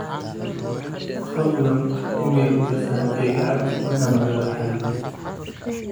fadhlan iimayl u dhir saxiibkeyga abdi in aan ogado xaaladiisa